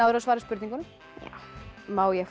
að svara spurningunum já má ég fá